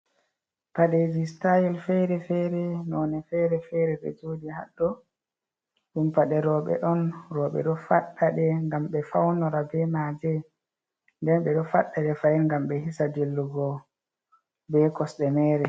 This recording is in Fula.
padeji stayil fere-fere none fere fere be jodi haddo dum pade roɓe don roɓe do faddade gam be faunora be maje nden be do faddade fail gam be hisa jillugo be cosde mere